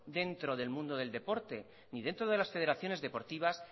dentro del mundo del deporte ni dentro de las federaciones deportivas